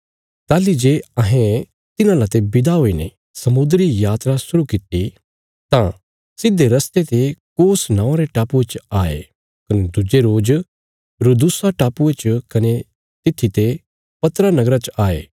ताहली जे अहें तिन्हां लाते विदा हुईने समुद्री यात्रा शुरु कित्ती तां सिधे रस्ते ते कोस नौआं रे टापुये च आये कने दुज्जे रोज रुदूसा टापुये च कने तित्थी ते पतरा नगरा च आये